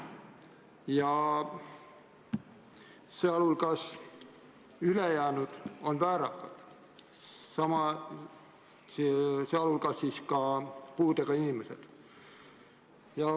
Ülejäänud selles pundis on väärakad, sealhulgas ka puudega inimesed.